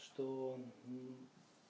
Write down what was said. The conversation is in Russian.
что